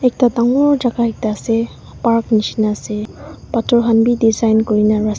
ekta dangor jaga ekta ase park nisna ase pathor khan bhi design kuri na rasta--